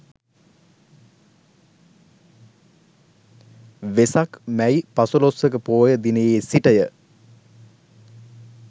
වෙසක් මැයි පසළොස්වක පෝය දිනයේ සිට ය.